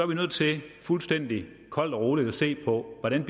vi nødt til fuldstændig koldt og roligt at se på hvordan